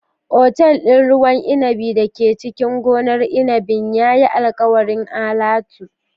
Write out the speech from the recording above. Otal ɗin ruwan inabi da ke cikin gonar inabin ya yi alkawarin alatu.